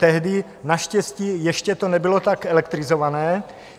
Tehdy naštěstí ještě to nebylo tak elektrizované.